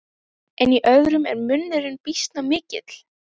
En í öðrum er munurinn býsna mikill.